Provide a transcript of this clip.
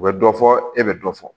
U bɛ dɔ fɔ e bɛ dɔ fɔ